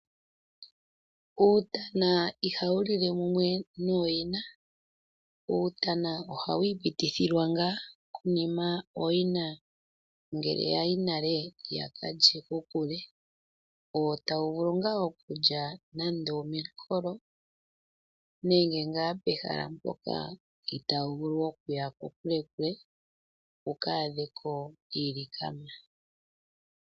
Uutana ihawu lile mumwe nooyina. Uutana ohawu ipitithilwa ngaa konima ngele ooyina yaya nale yakalya kokule wo tawu vulu nee okulya nande omenkolo nenge ngaa pehala mpoka itawu vulu okuya kokule wuka adheko iilyani.